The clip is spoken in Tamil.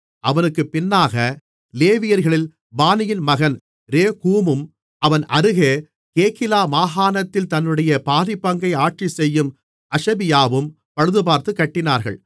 அவனுக்குப் பின்னாக லேவியர்களில் பானியின் மகன் ரேகூமும் அவன் அருகே கேகிலா மாகாணத்தில் தன்னுடைய பாதிப்பங்கை ஆட்சி செய்யும் அஷபியாவும் பழுதுபார்த்துக் கட்டினார்கள்